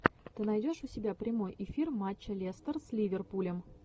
ты найдешь у себя прямой эфир матча лестер с ливерпулем